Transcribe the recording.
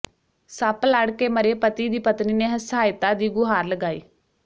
ਸੱਪ ਲੜ ਕੇ ਮਰੇ ਪਤੀ ਦੀ ਪਤਨੀ ਨੇ ਸਹਾਇਤਾ ਦੀ ਗੁਹਾਰ ਲਗਾਈ